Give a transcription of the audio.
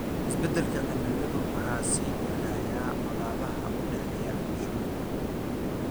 Isbeddelka cimiladu waa sii kordhaya colaadaha u dhexeeya bulshooyinka.